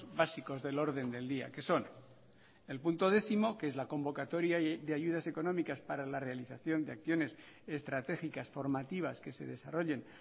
básicos del orden del día que son el punto décimo que es la convocatoria de ayudas económicas para la realización de acciones estratégicas formativas que se desarrollen